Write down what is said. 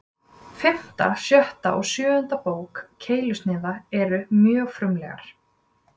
Fimmta, sjötta og sjöunda bók Keilusniða eru mjög frumlegar.